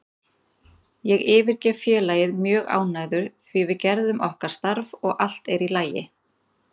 Ég yfirgef félagið mjög ánægður því við gerðum okkar starf og allt er í lagi.